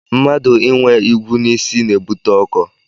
Mmadụ inwe igwu n'isi na-ebute ọkọ